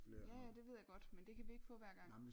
Ja ja det ved jeg godt men det kan vi ikke få hver gang